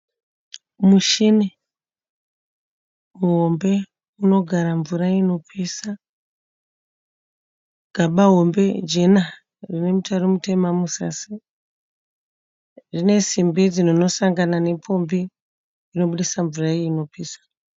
Muchini muhombe unogara mvura inopisa. Gaba hombe jena rine mutaro mutema muzasi. Rine simbi dzinosangana nepombi dzinobudisa mvura iyi inopisa.